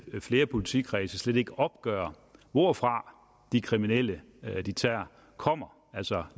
flere politikredse slet ikke opgør hvorfra de kriminelle de tager kommer altså